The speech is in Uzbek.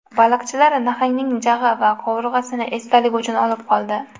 Baliqchilar nahangning jag‘i va qovurg‘asini esdalik uchun olib qoldi.